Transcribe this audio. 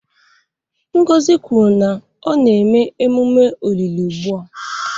Ngozi kwuru na a na-eme emume olili ugbu a